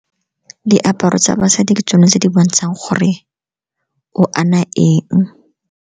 Diaparo tsa basadi ke tsone tse di bontshang gore o ana eng.